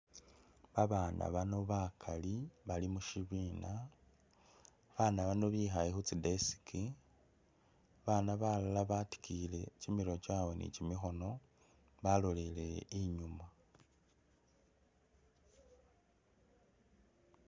Ba bana bano bakali bali mushibiina, ba bana bano bikhaye khutsi desk, ba bana balala batikiyile kyimirwe kyawe ni kyimikhono baloleleye inyuma.